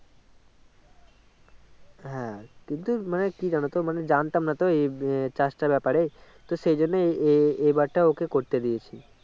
হ্যাঁ কিন্তু মানে কি জানতো মানে জানতামনা তো এই আহ চাষ তার বাপারে তো সেই জন্য এই এ এ এবারটা করতে দিয়েছি